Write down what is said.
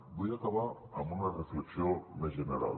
vull acabar amb una reflexió més general